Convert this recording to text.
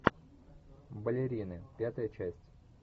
балерины пятая часть